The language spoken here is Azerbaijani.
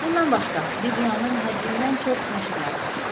Bundan başqa, Bibliyanın həddindən çox nəsirləri var.